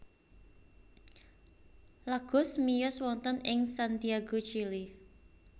Lagos miyos wonten ing Santiago Chili